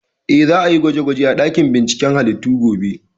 Eh, za a yi gwaje gwaje a ɗakin binciken halittu gobe